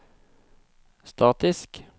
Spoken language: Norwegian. statisk